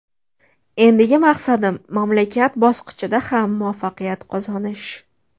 Endigi maqsadim mamlakat bosqichida ham muvaffaqiyat qozonish”.